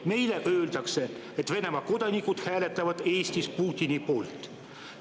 Meile öeldakse, et Venemaa kodanikud hääletavad Eestis Putini poolt.